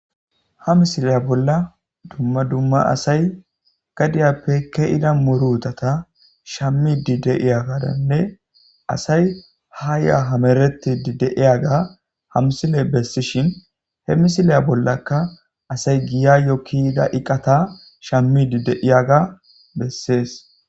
Ha misile bolla dumma dumma asayi gadiyappe ke'ida murutata shamidi de'iyagadanne , asayi ha ya hametidi de'iyaga ha misiley besishn he misilya bollaka asayi giyayo ke'ida eqata shamidi de'iyaga besesi.